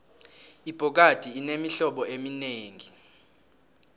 ibhokadi inemihlobo eminengi